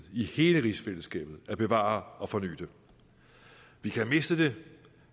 i hele rigsfællesskabet at bevare og forny det vi kan miste det